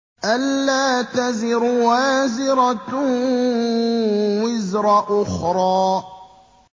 أَلَّا تَزِرُ وَازِرَةٌ وِزْرَ أُخْرَىٰ